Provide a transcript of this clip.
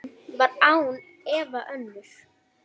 Raunin var án efa önnur.